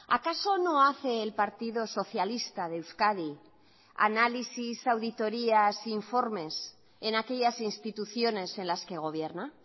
acaso no hace el partido socialista de euskadi análisis auditorías informes en aquellas instituciones en las que gobierna